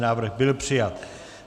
Návrh byl přijat.